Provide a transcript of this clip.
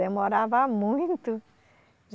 Demorava muito.